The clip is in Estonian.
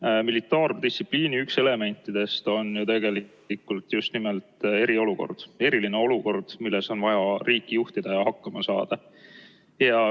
Üks militaardistsipliini elemente on tegelikult just nimelt eriolukord, eriline olukord, milles on vaja riiki juhtida ja hakkama saada.